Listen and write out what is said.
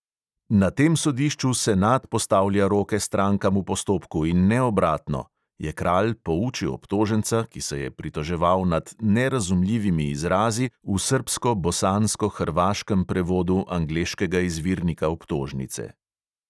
"Na tem sodišču senat postavlja roke strankam v postopku in ne obratno," je kralj poučil obtoženca, ki se je pritoževal nad "nerazumljivimi izrazi" v srbsko-bosansko-hrvaškem prevodu angleškega izvirnika obtožnice.